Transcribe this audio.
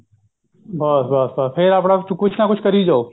ਬਸ ਬਸ ਬਸ ਫੇਰ ਆਪਣਾ ਕੁੱਛ ਨਾ ਕੁੱਛ ਕਰੀ ਜਾਓ